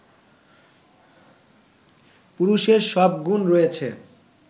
পুরুষের সব গুণ রয়েছে